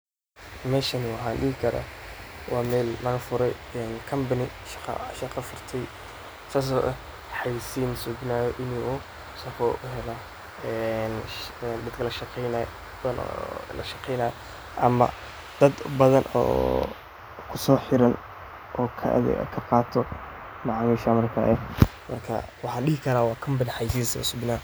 Meshani waxa dihi kara wa mel laga fure Company aya shaqa furte saas aya hayeysin sameyan siife shaqo uheelan ee shaqadhan ama daad badan oo kuso xiran oo kabadan oo laqato macamisha cadiga ah waxa dihi kara waa Company hayeysin usubinaya.